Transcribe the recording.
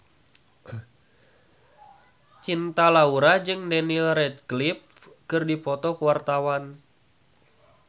Cinta Laura jeung Daniel Radcliffe keur dipoto ku wartawan